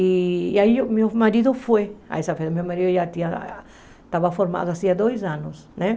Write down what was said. E aí meu marido foi a essa festa, meu marido já tinha, estava formado há dois anos, né?